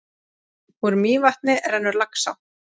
Úr Mývatni rennur Laxá.